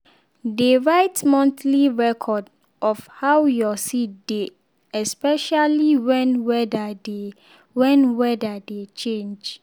dey write monthly record of how your seed dey especially when weather dey when weather dey change.